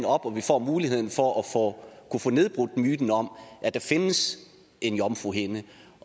op og vi får muligheden for at kunne få nedbrudt myten om at der findes en jomfruhinde